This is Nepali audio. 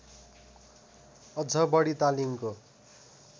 अझ बढी तालिमको